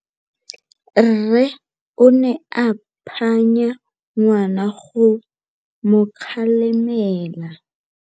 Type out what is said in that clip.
Rre o ne a phanya ngwana go mo galemela.